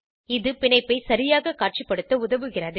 இது பிணைப்பை சரியாக காட்சிப்படுத்த உதவுகிறது